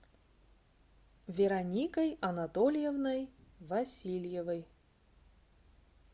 вероникой анатольевной васильевой